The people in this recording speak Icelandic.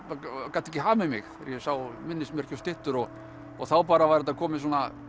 gat ekki hamið mig þegar ég sá minnismerki og styttur og þá bara var þetta komið